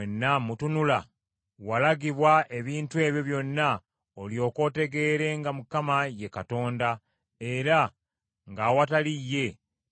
“Walagibwa ebintu ebyo byonna olyoke otegeere nga Mukama ye Katonda; era nga awatali ye tewali mulala.